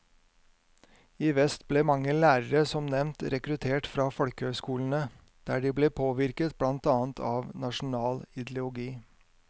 I vest ble mange lærere som nevnt rekruttert fra folkehøyskolene, der de ble påvirket blant annet av nasjonal ideologi.